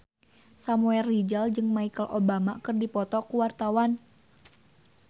Samuel Rizal jeung Michelle Obama keur dipoto ku wartawan